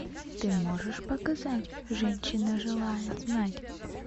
ты можешь показать женщина желает знать